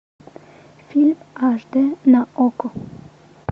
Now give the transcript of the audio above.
фильм аш дэ на окко